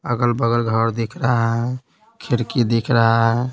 अगल बगल घर दिख रहा है खिड़की दिख रहा है।